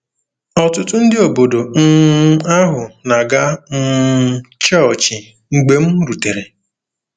Ọtụtụ ndị obodo um ahụ na-aga um chọọchị mgbe m rutere.